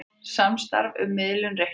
Samstarf um miðlun reikninga